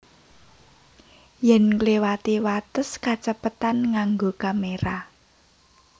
Yèn ngliwati wates kacepetan nganggo kamera